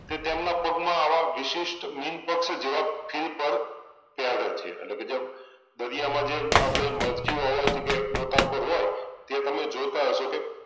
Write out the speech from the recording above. તે તેમના પગમાં આવા વિશિષ્ટ મીનપક્ષ જેવા ફ્રિપર ત્યાં આગળ છે અટલેકેજે દરિયામાં જે આપણે મરજીવા હોય તીકે ગોતાખોર હોય તે તમે જોતાં હશો કે